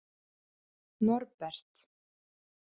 Norbert